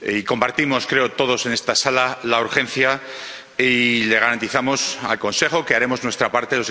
Compartimos, creo, todos en esta sala la urgencia y le garantizamos al Consejo que haremos nuestra parte